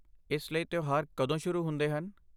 ਇਸ ਲਈ ਤਿਉਹਾਰ ਕਦੋਂ ਸ਼ੁਰੂ ਹੁੰਦੇ ਹਨ?